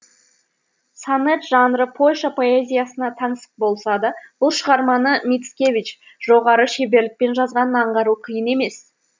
сонет жанры польша поэзиясына таңсық болса да бұл шығарманы мицкевич жоғары шеберлікпен жазғанын аңғару қиын емес